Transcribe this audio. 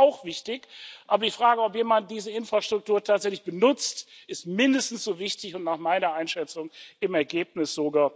Das ist natürlich auch wichtig, aber die Frage, ob jemand diese Infrastruktur tatsächlich benutzt, ist mindestens so wichtig und nach meiner Einschätzung im Ergebnis sogar